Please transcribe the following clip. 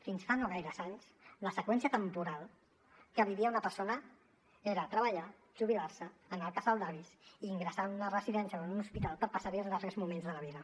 fins fa no gaires anys la seqüència temporal que vivia una persona era treballar jubilar se anar al casal d’avis i ingressar en una residència o en un hospital per passar hi els darrers moments de la vida